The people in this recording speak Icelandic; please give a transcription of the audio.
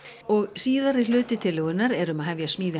og síðari hluti tillögunnar er um að hefja smíði